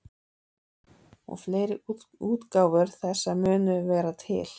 Og fleiri útgáfur þessa munu vera til.